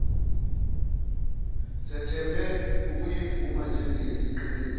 sethembe ukuyivuma njengeyiqiniso